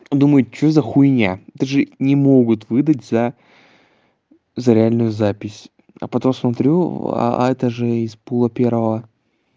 думает что за хуйня это же не могут выдать за за реальную запись а потом смотрю а это же из пула первого